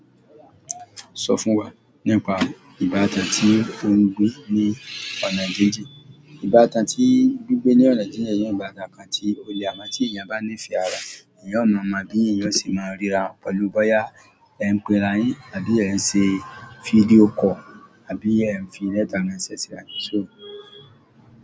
Sọ fún wa nípa ìbátan tí ò ń gbé ní ọ̀nà jíjìn. Ìbátan tí Dúgbẹ̀ ní ọ̀nà jíjìn yẹn òún bá ọ̀kàn tí ó le mọ tí èèyàn bá ní ìfẹ́ ara, èèyàn ó mọ̀ ọ́n bí èèyàn ṣe máa ríra pẹ̀lú bóyá ẹ ń pe ara yín àbí ẹ ń ṣe fídíò kọ̀ àbí ẹ ń fi lẹ́tà ránṣẹ́ síra.